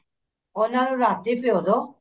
ਉਹਨਾ ਨੂੰ ਰਾਤੀ ਭਿਓਂ ਦੋ